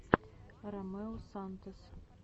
ромео сантос